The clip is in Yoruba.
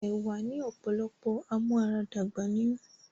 Ẹ̀wá ni ọ̀pọ̀lọpọ̀ amúaradàgbà nínú